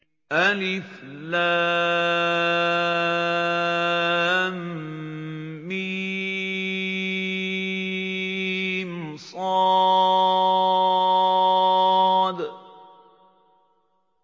المص